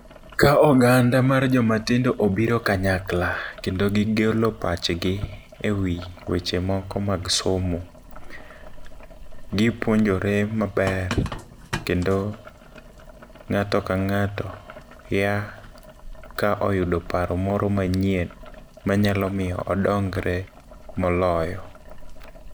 Ka oganda mar joma tindo obiro kanyakla kendo gigolo pachgi e wi weche moko mag somo. Gipuonjore maber. Kendo ng'ato ka ng'ato ya ka oyudo paro moro manyien manyalo miyo odongore moloyo.